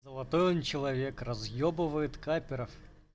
золотой он человек разъебывает капперов